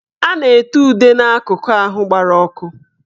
A na-ete ude n'akụkụ ahụ gbara ọkụ